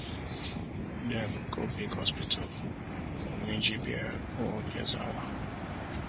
dem go big hospital for minjibir or gezawa